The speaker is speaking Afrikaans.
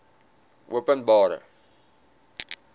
openbare